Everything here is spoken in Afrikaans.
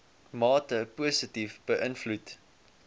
mate positief beïnvloed